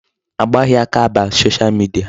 A gbaghị aka aba Social media.